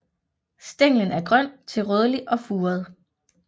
Stænglen er grøn til rødlig og furet